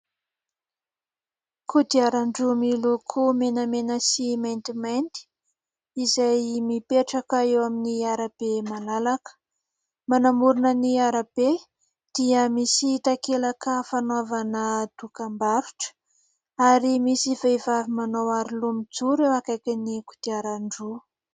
Kodiaran-droa miloko menemena sy maintimanty izay mipetraka eo amin'ny arabe malalaka. Manamorina ny arabe dia misy takelaka fanaovana dokam-barotra ary misy vehivavy manao aro loha mijoro eo akainin'ny kodiaran-droa.